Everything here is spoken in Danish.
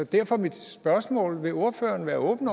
derfor er mit spørgsmål vil ordføreren være åben